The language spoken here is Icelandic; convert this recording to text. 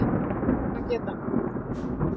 Ber að geta